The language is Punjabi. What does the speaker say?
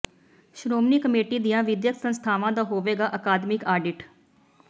ਸ਼੍ਰੋਮਣੀ ਕਮੇਟੀਆਂ ਦੀਆਂ ਵਿੱਦਿਅਕ ਸੰਸਥਾਵਾਂ ਦਾ ਹੋਵੇਗਾ ਅਕਾਦਮਿਕ ਆਡਿਟ